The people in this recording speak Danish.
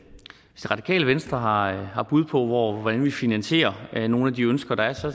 radikale venstre har har bud på hvordan vi finansierer nogle af de ønsker der er så